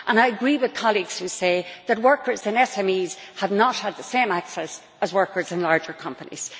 And I agree with colleagues who say that workers in SMEs have not had the same access as workers in larger companies.